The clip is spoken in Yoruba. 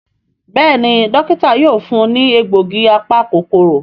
Béèni Dókítà yóò fún ní egbògi apa-kòkòrò.